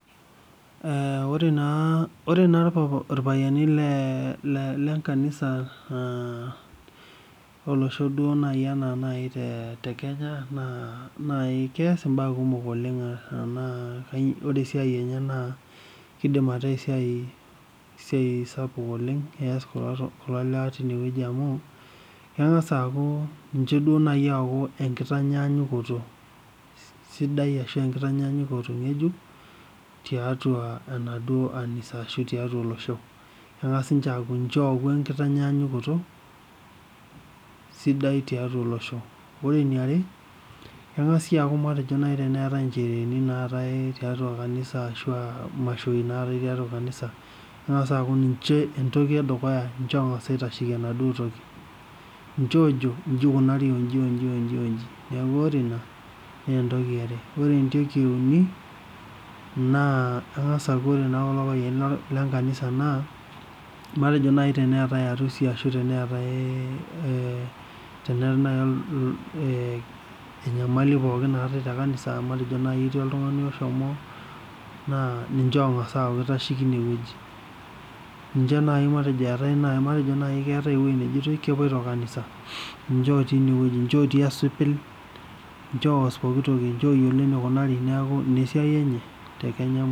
Ore irpayiani lenkanisho eee olosho naaji enaa naaji te kenya naakeeas imbaa kumok amu keidim ataaa ore esiai enye naa pees kulo lewa tine wueji amu keng'as aaaku ninche duo naaji ooku enkitanyaaakuto sidai ashua enkitanyaanyuko tiatua kanisa ashua tiatua olosho neng'as ninche aaku ninche ooku enkitanyaanyukoto sidai tiatua olosho ore eniare keng'as aaku teneetai imashoi naatai tiatua kanisa keng'as aaku ninche entoki edukuya ninche oong'as aitasheyie ena duo toki ninche oojo inji eikunari onji onji onji meeku ore ina naa entoki yare etoki euni nqa keng'as aaku ore kulo payiani lenkanisa naa matejo naaji teneetai arusi ashuu teneetai naaji enyamali pookin naatai tekanisa naa matejo naaji etii oltung'ani oshomo naa ninche oong'as aaku keitasheki ine weuji ninche naaji matejo naaji keetai enejoitoi kepuoito kanisa ninche otii ine weueji ninche otii esipil ninche oos pokitoki neeku ina esiai enye tekenya musima.